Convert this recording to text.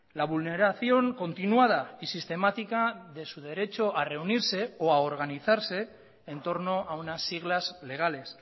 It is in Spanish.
la vulneración continuada y sistemática de su derecho a reunirse o a organizarse en torno a unas siglas legales